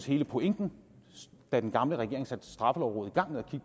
hele pointen da den gamle regering satte straffelovrådet i gang med at